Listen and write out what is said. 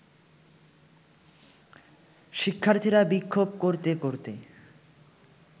শিক্ষার্থীরা বিক্ষোভ করতে করতে